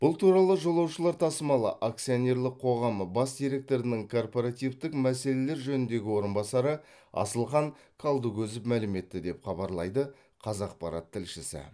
бұл туралы жолаушылар тасымалы акционерлік қоғамы бас директорының корпоративтік мәселелер жөніндегі орынбасары асылхан қалдыкөзов мәлім етті деп хабарлайды қазақпарат тілшісі